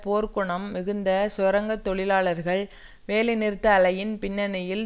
போர்க்குணம் மிகுந்த சுரங்க தொழிலாளர்கள் வேலை நிறுத்த அலையின் பின்னணியில்